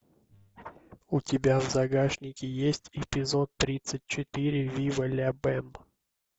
у тебя в загашнике есть эпизод тридцать четыре вива ля бэм